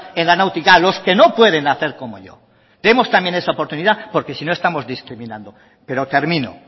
en la náutica a los que no pueden hacer como yo demos también esa oportunidad porque si no estamos discriminando pero termino